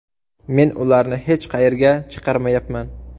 Men ularni hech qayerga chiqarmayapman.